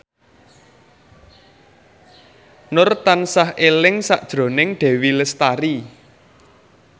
Nur tansah eling sakjroning Dewi Lestari